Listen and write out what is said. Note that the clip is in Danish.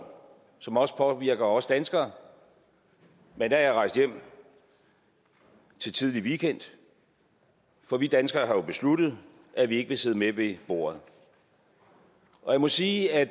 som også påvirker os danskere men da er jeg rejst hjem til tidlig weekend for vi danskere har jo besluttet at vi ikke vil sidde med ved bordet jeg må sige at